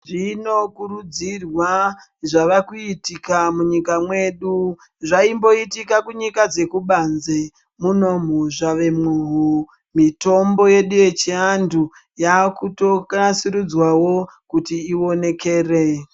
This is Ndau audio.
Zvinokurudzirwa zvava kuitika munyika mwedu zvaimboitika kunyika dzekubanze munomu zvavemowo mitombo yedu yechiantu yakuto nasurudzwa wo kuti ionekere.